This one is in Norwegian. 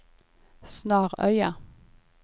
Snarøya